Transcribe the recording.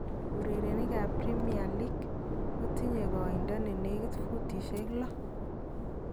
Urerenikap Premier league kotinye koindo ne nekit futishek lo